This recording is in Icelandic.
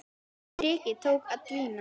Þrekið tók að dvína.